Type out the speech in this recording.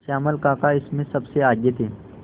श्यामल काका इसमें सबसे आगे थे